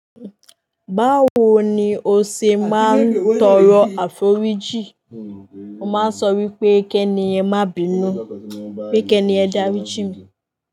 Báwo ni o ṣe máa ń tọrọ àforíjì? Mo máa ń sọ wípé "kẹ́ni yẹn má binu, pé kẹ́ni yẹn darí jín mi".